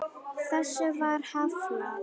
Þessu var hafnað.